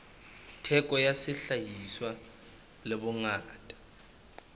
theko ya sehlahiswa le bongata